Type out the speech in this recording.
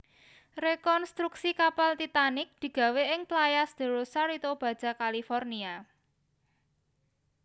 Rekontruksi kapal Titanic digawé ing Playas de Rosarito Baja California